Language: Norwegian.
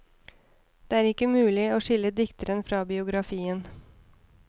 Det er ikke mulig å skille dikteren fra biografien.